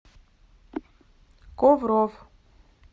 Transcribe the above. ковров